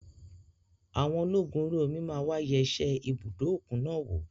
Àwọn ológun orí omi máa wà yẹ ṣe ibùdó òkun náà wò.